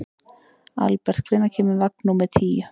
Albert, hvenær kemur vagn númer tíu?